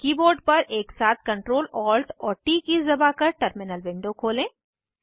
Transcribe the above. अपने कीबोर्ड पर एक साथ Ctrl Alt और ट कीज़ दबाकर टर्मिनल खोलें